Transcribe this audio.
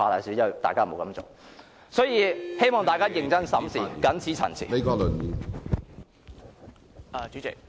所以......希望大家認真審視，謹此陳辭。